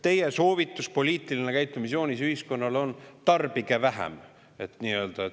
Teie soovitus, poliitiline käitumisjoonis ühiskonnale on: tarbige vähem!